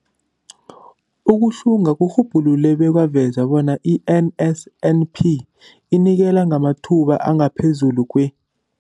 Ukuhlunga kurhubhulule bekwaveza bona i-NSNP inikela ngamathuba angaphezulu kwe-